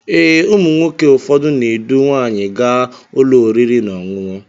Ee, ụmụ nwoke ụfọdụ na edu nwanyi gaa ụlọ oriri na ọṅụṅụ